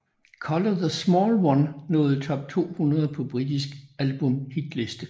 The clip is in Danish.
Colour the Small One nåede top 200 på britiske albumhitliste